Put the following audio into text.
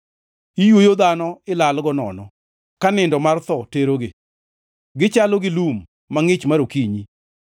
Iywoyo dhano ilalgo nono ka nindo mar tho terogi; gichalo gi lum mangʼich mar okinyi,